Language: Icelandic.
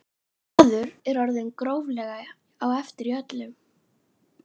Maður er orðinn gróflega á eftir í öllu.